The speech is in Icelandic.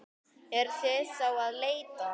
Eruð þið þá að leita?